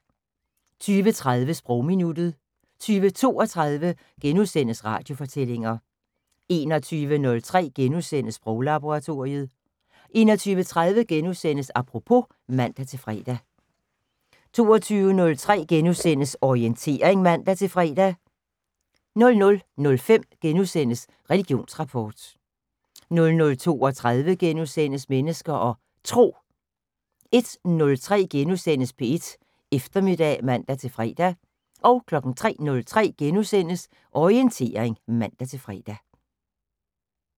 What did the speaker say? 20:30: Sprogminuttet 20:32: Radiofortællinger * 21:03: Sproglaboratoriet * 21:30: Apropos *(man-fre) 22:03: Orientering *(man-fre) 00:05: Religionsrapport * 00:32: Mennesker og Tro * 01:03: P1 Eftermiddag *(man-fre) 03:03: Orientering *(man-fre)